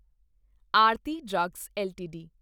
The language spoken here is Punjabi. Aarti drugs LTD